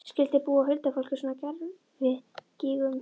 Skyldi búa huldufólk í svona gervigígum?